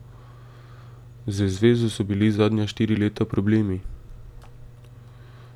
Z zvezo so bili zadnja štiri leta problemi.